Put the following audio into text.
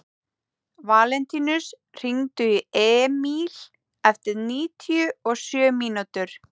Valentínus, hringdu í Emíl eftir níutíu og sjö mínútur.